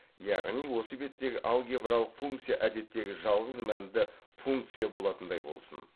яғни осы беттегі алгебралық функция әдеттегі жалғыз мәнді функция болатындай болсын